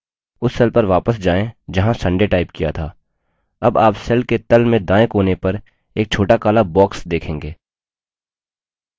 उस cell पर वापस जाएँ जहाँ sunday टाइप किया था अब आप cell के तल में दायें कोने पर एक छोटा काला box देखेंगे